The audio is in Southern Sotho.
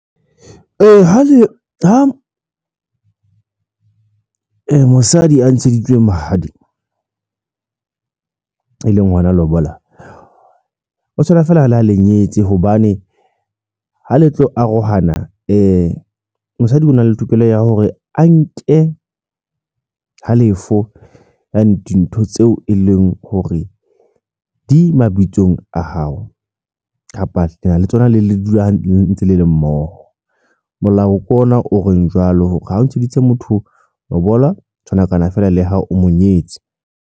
Ee, ha le ha mosadi a ntsheditswe mahadi e leng lona lobola, o tshwana feela ha lenyetse hobane ha le tlo arohana mosadi o na le tokelo ya hore a nke halefo ya dintho tseo e leng hore di mabitsong a hao kapa lena le tsona le le dula ntse le le mmoho. Molao ke ona o reng jwalo hore ha o ntsheditse motho lobola ho tshwanakana feela le ha hao o mo nyetse.